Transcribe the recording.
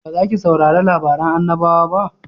Ba za ki saurari labarin annabawa ba?